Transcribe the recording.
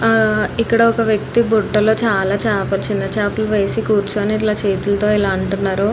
ఇక్కడ ఒక వ్యక్తి బుట్టలో చాల చాపలు చిన్న చాపలు వేసుకొని కూర్చుని చేతితో ఇలా అంటున్నారు.